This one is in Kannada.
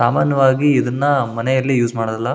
ಸಾಮಾನ್ಯವಾಗಿ ಇದನ್ನ ಮನೆಯಲ್ಲಿ ಯೂಸ್ ಮಾಡೋದಿಲ್ಲ.